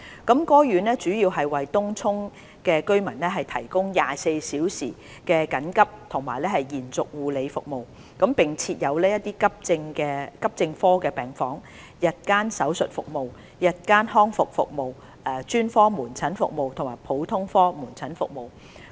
該院主要為東涌區居民提供24小時緊急及延續護理服務，並設有急症科病房、日間手術服務、日間復康服務、專科門診服務和普通科門診服務。